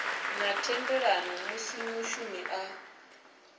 na thendelano musi mushumi a